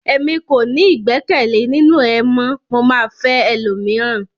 Èmi kò ní igbẹkẹle ninu ẹ mọ, mo ma fẹ ẹlòmíràn.